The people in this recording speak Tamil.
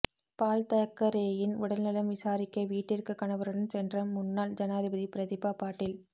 பால்தாக்கரேயின் உடல்நலம் விசாரிக்க வீட்டிற்கு கணவருடன் சென்ற முன்னாள் ஜனாதிபதி பிரதீபா பாட்டீல்